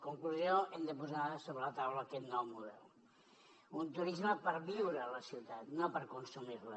conclusió hem de posar sobre la taula aquest nou model un turisme per viure a la ciutat no per consumir la